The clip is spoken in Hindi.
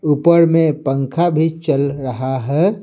ऊपर में पंखा भी चल रहा है।